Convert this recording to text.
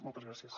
moltes gràcies